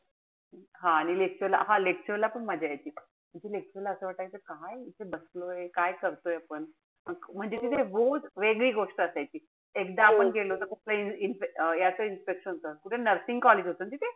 हा आणि lecture ला हा lecture ला पण मजा यायची. तिथे lecture ला असं वाटायचं काय इथे बसलोय. काय करतोय आपण. म्हणजे तिथे रोज वेगळी गोष्ट असायची. एकदा आपण गेलो होतो. अं याच inspection होत. कुठे nursing college होत ना तिथे?